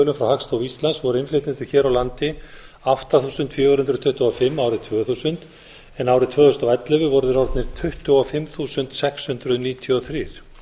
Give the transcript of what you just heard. tölum frá hagstofu íslands voru innflytjendur hér á landi átta þúsund fjögur hundruð tuttugu og fimm árið tvö þúsund en árið tvö þúsund og ellefu voru þeir orðnir tuttugu og fimm þúsund sex hundruð níutíu og þrjú